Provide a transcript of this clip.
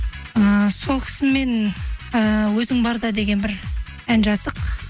ііі сол кісімен ііі өзің барда деген бір ән жаздық